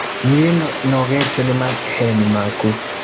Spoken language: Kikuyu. Nĩ nogetio ni maheni maku